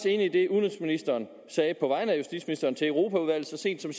enig i det udenrigsministeren sagde på vegne af justitsministeren til europaudvalget så sent som